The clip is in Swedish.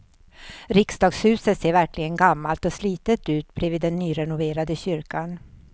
Riksdagshuset ser verkligen gammalt och slitet ut bredvid den nyrenoverade kyrkan.